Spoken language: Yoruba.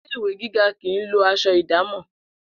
Ilé ìwé gíga kì í lo as̩o̩ ìdámò̩